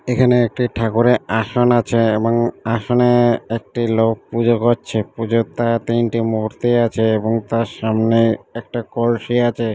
এখানে একটি ঠাকুরের আসন আছে এবং আসনে-এ একটি লোক পুজো করছে পুজোর তা তিনটি মুহূর্তেই আছে এবং তার সামনে একটা কলসি আছে।